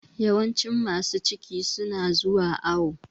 Yawancin masu ciki su na zuwa awo